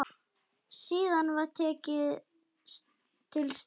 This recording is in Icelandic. Síðan var tekið til starfa.